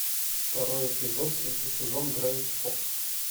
второй эпизод третий сезон гравити фолз